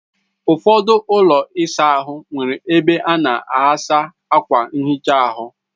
Ụfọdụ ụlọ ịsa ahụ nwere ebe a na aghasa akwa nhicha ahụ.